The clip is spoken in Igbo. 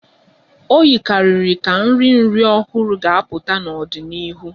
O yikarịrị ka nri nri ọhụrụ ga-apụta n'ọdịnihu